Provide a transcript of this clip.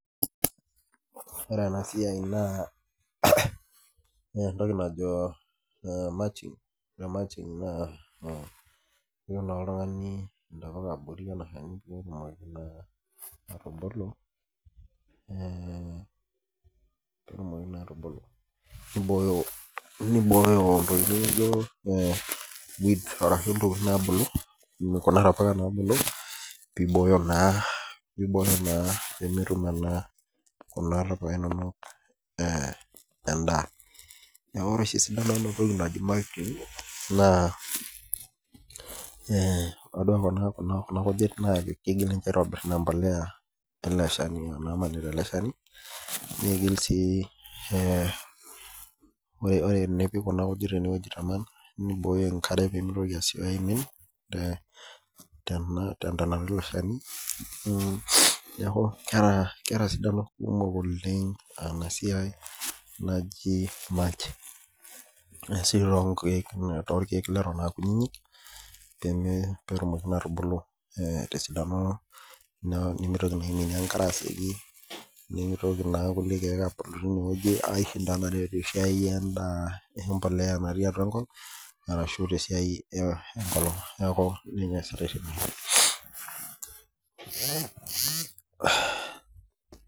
Ore ena siai naa entoki najo mulching. Ore mulching elo apik oltung'ani ntokitin abori ele chani, pee etumoki naa atubulu, peibooyo intokitin naa naijo weeds, arashu intokitin naabulu, peibooyo naa pemetum ena kuna tapuka inono endaa. Neaku ore oshi esidano ena siai najo mulching naa tadua kuna kujit naa kegira ninche aitobir empolea ele shani anaa namanita ele shani, neigil sii ore tenipik kuna kujit ene neibooyo enkare pee mesioki aimin te entonata ele chani. Neaku keata sidano kumok oleng' ena siai naji mulching , neisul toolkekk leton aa kutitik pee etumoki naa atubulu te esidano , nemeitoki naa aiminie enkare asioki, nemeitoki naa kulie keek abulu teine wueji aishinda naa tesiai empolea natii atua enkop arashu te esiai enkolong', neaku ninye easitai tene.